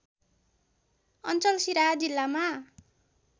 अञ्चल सिराहा जिल्लामा